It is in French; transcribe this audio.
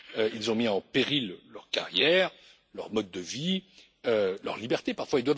Ils ont mis en péril leur carrière, leur mode de vie, leur liberté parfois.